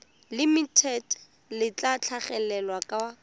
limited le tla tlhagelela kwa